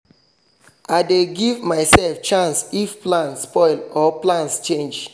i dey give myself chance if plan spoil or plans change